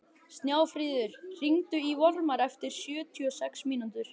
Snjáfríður, hringdu í Vormar eftir sjötíu og sex mínútur.